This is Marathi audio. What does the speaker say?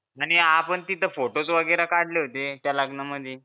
आणि आपण तिथे photos वगैरे काढले होते त्या लग्नामधी